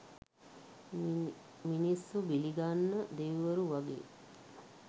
මිනිස්සු බිලිගන්න දෙවිවරු වගේ